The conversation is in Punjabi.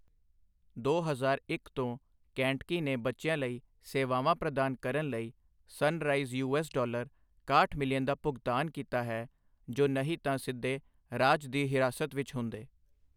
ਦੋ ਹਜ਼ਾਰ ਇੱਕ ਤੋਂ, ਕੈਂਟਕੀ ਨੇ ਬੱਚਿਆਂ ਲਈ ਸੇਵਾਵਾਂ ਪ੍ਰਦਾਨ ਕਰਨ ਲਈ ਸਨਰਾਈਜ਼ ਯੂ.ਐੱਸ. $61 ਮਿਲੀਅਨ ਦਾ ਭੁਗਤਾਨ ਕੀਤਾ ਹੈ ਜੋ ਨਹੀਂ ਤਾਂ ਸਿੱਧੇ ਰਾਜ ਦੀ ਹਿਰਾਸਤ ਵਿੱਚ ਹੁੰਦੇ।